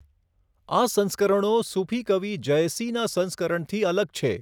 આ સંસ્કરણો સૂફી કવિ જયસીનાં સંસ્કરણથી અલગ છે.